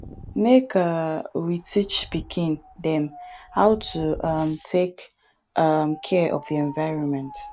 make um we teach pikin dem how to um take um care of di environment